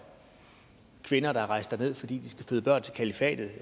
kvinder der er rejst derned fordi de skal føde børn til kalifatet og